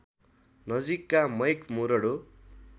नजिकका मैक मुरडो